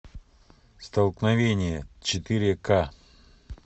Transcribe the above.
столкновение четыре ка